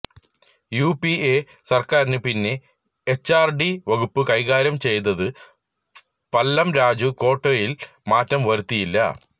UPA സര്ക്കാരിന് പിന്നെ HRD വകുപ്പ് കൈകാര്യം ചെയ്തത് പല്ലം രാജു ക്വോട്ടയില് മാറ്റം വരുത്തിയില്ല